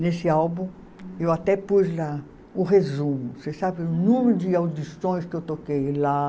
Nesse álbum, eu até pus lá o resumo, vocês sabem o número de audições que eu toquei lá.